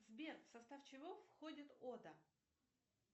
сбер в состав чего входит ода